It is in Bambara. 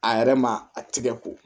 A yɛrɛ ma a tigɛ ko